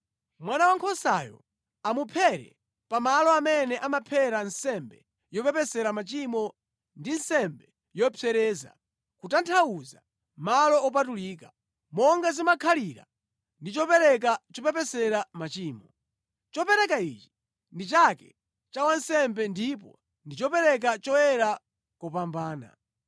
Mwana wankhosayo amuphere pa malo amene amaphera nsembe yopepesera machimo ndi nsembe yopsereza, kutanthauza malo opatulika. Monga zimakhalira ndi chopereka chopepesera machimo, chopereka ichi ndi chake cha wansembe ndipo ndi chopereka choyera kopambana.